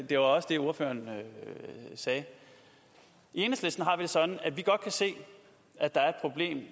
det var også det ordføreren sagde i enhedslisten har vi det sådan at vi godt kan se at der er